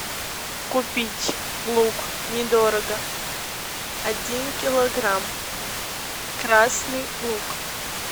купить лук недорого один килограмм красный лук